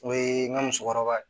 O ye n ka musokɔrɔba ye